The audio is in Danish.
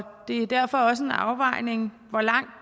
det er derfor også en afvejning hvor langt